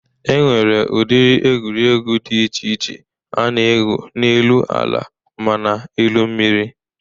E nwere ụdịrị egwuregwụ dị che iche a na-egwu n'elu ala mana elu mmiri.